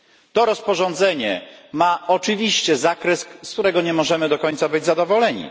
To rozporządzenie ma oczywiście zakres, z którego nie możemy do końca być zadowoleni.